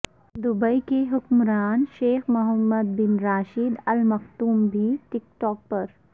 Dubai کے حکمراں Sheikh Mohammed bin Rashid Al Maktoum بھی ٹک ٹاک پر